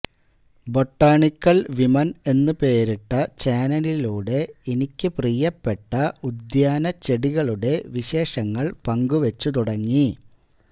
botanical women എന്നു പേരിട്ട ചാനലിലൂടെ എനിക്കു പ്രിയ്യപ്പെട്ട ഉദ്യാനച്ചെടികളുടെ വിശേഷങ്ങൾ പങ്കുവച്ചു തുടങ്ങി